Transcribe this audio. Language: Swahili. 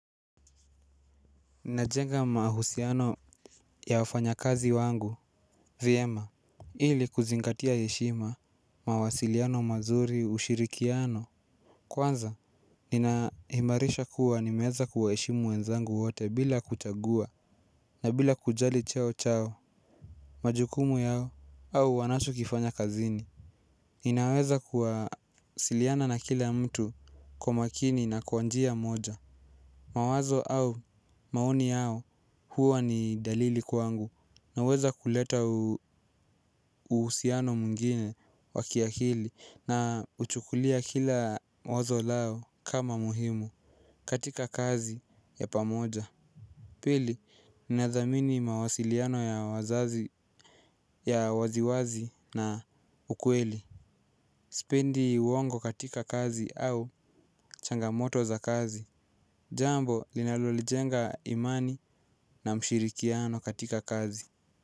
Najenga mahusiano ya wafanyakazi wangu, vyema. Ili kuzingatia heshima, mawasiliano mazuri ushirikiano. Kwanza, nina imarisha kuwa nimeweza kuwaheshimu wenzangu wote bila kuchagua na bila kujali cheo chao. Majukumu yao au wanacho kifanya kazini. Ninaweza kuwasiliana na kila mtu kwa makini na kwanjia moja. Mawazo au maoni huwa ni dalili kwangu naweza kuleta uhusiano mwngine wa kiakili na huchukulia kila wazo lao kama muhimu katika kazi ya pamoja. Pili, ninadhamini mawasiliano ya waziwazi na ukweli. Sipendi uongo katika kazi au changamoto za kazi. Jambo linalo jenga imani na mshirikiano katika kazi.